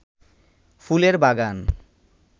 ফুলের বাগান